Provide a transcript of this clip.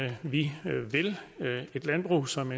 at vi vil et landbrug som